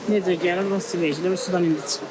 Necə gəlir, onun sümeyçləri Sudan indi çıxır.